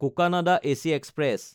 Cocanada AC express